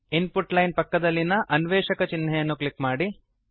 ಇನ್ ಪುಟ್ line ಪಕ್ಕದಲ್ಲಿನ ಅನ್ವೇಷಕಚೆಕ್ ಚಿನ್ಹೆಯನ್ನು ಕ್ಲಿಕ್ ಮಾಡಿ